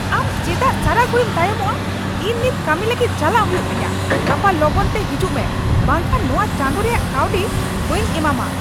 ᱟᱢ ᱪᱮᱫᱟᱜ ᱥᱟᱨᱟ ᱜᱷᱩᱲᱤᱢ ᱛᱟᱭᱚᱢᱚᱜᱼᱟ ? ᱤᱧ ᱱᱤᱛ ᱠᱟᱹᱢᱤ ᱞᱟᱹᱜᱤᱫ ᱪᱟᱞᱟᱜ ᱦᱩᱭᱩᱜ ᱛᱤᱧᱟᱹ ! ᱜᱟᱯᱟ ᱞᱚᱜᱚᱱ ᱛᱮ ᱦᱤᱡᱩᱜ ᱢᱮ ᱵᱟᱝᱠᱷᱟᱱ ᱱᱚᱶᱟ ᱪᱟᱸᱫᱩ ᱨᱮᱭᱟᱜ ᱠᱟᱹᱣᱰᱤ ᱵᱟᱹᱧ ᱮᱢᱟᱢᱟ ᱾